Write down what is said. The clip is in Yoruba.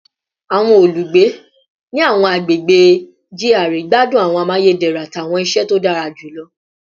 Awọn olugbe ni awọn agbegbe GRA gbadun awọn amayederun ati awọn iṣẹ to dara julọ